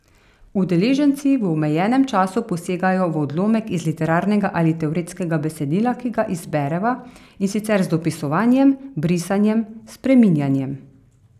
Udeleženci v omejenem času posegajo v odlomek iz literarnega ali teoretskega besedila, ki ga izbereva, in sicer z dopisovanjem, brisanjem, spreminjanjem.